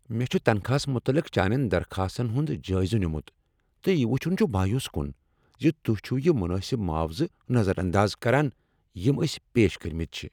مےٚ چھ تنخواہس متعلق چانین درخاستن ہنٛد جٲیزٕ نمُت، تہٕ یہ وٕچھن چھ مایوس کن ز تہۍ چھو یِہ منٲسب معاوضہٕ نظر انداز کران یم أسۍ پیش کٔرمتۍ چھ۔